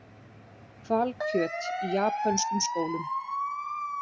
Hvalkjöt í japönskum skólum